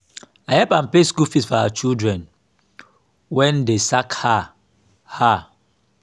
i help am pay school fees for her children wen dey sack her her